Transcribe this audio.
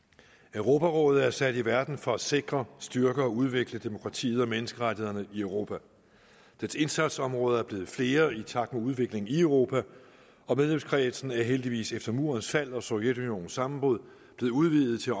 europarådet er sat i verden for at sikre styrke og udvikle demokratiet og menneskerettighederne i europa dets indsatsområder er blevet flere i takt med udviklingen i europa og medlemskredsen er heldigvis efter murens fald og sovjetunionens sammenbrud blevet udvidet til